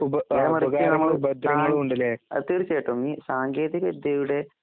നേരെമറിച്ച് ഞമ്മള് താഴ് അഹ്തീർച്ചയായിട്ടും ഈസാങ്കേതികവിദ്യയുടെ